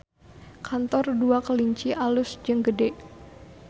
Kantor Dua Kelinci alus jeung gede